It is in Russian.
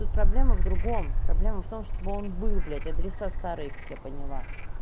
тут проблема в другом проблема в том чтобы он был блядь адреса старые как я поняла